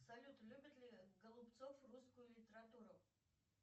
салют любит ли голубцов русскую литературу